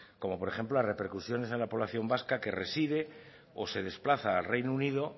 como por ejemplo la repercusión en la población vasca que reside o se desplaza al reino unido